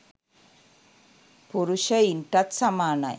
පුරුෂයින්ටත් සමානයි.